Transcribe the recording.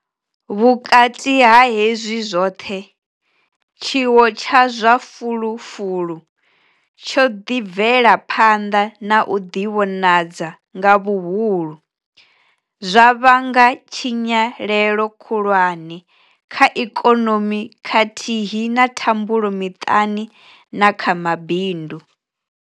Vhukati ha hezwi zwoṱhe, tshiwo tsha zwa fulufulu tsho ḓi bvela phanḓa na u ḓivhonadza nga vhuhulu, zwa vhanga tshinyalelo khulwane kha ikonomi khathihi na thambulo miṱani na kha mabindu.